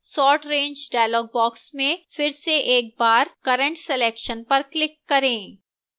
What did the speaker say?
sort range dialog box में फिर से एक बार current selection पर click करें